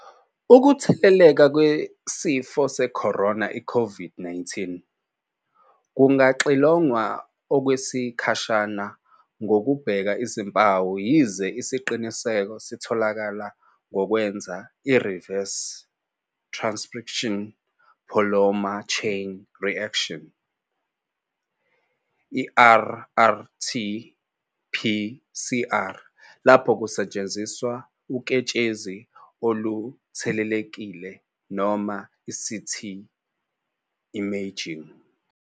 Ukutheleleka ngesifo sekhorona i-COVID-19 kungaxilongwa okwesikhashana ngokubheka izimpawu yize isiqiniseko sitholakala ngokwenza i-Reverse transcription polymer chain reaction, rRT-PCR, lapho kusetshenziswa uketshezi oluthelelekile noma i-CT imaging.